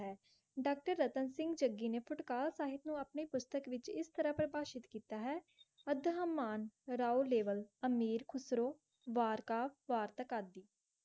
Doctor जनतन सींग जग्गी नै पाटकार सबह नो अप्रै पेनस्टॉक विच इस तरह परबाशिक किता अधम मान रओ रिवर अमीर कोसरो वारकाफ वाटर कटरी.